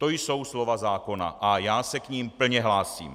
To jsou slova zákona a já se k nim plně hlásím.